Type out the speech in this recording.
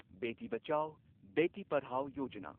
Beti Bachao, Beti Padhao Yojana